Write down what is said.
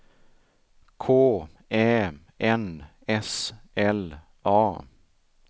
K Ä N S L A